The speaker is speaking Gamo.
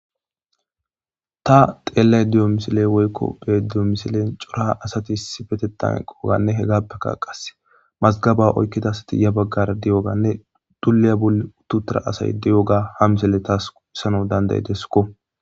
ta xeellay diyo misile woykko be diyo misilen cora asati issi fetetan eqoganne he gappeka qase mazgaba oykkidasati ya baggar di7oganne duliya bul uttutara asay di7oga ha misele taas issano dandayidesuko